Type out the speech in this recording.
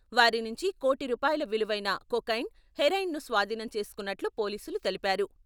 వారి నుంచి కోటి రూపాయల విలువైన కొకైన్, హెరాయిన్ను స్వాధీనం చేసుకున్నట్లు పోలీసులు తెలిపారు.